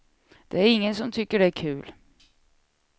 Det är ingen som tycker det är kul.